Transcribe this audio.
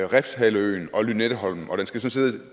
refshaleøen og lynetteholmen og